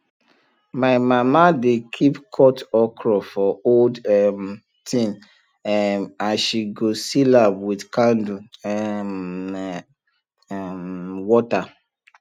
my mama dey keep cut okra for old um tin um and she go seal am with candle um water